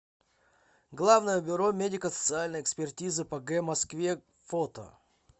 главное бюро медико социальной экспертизы по г москве фото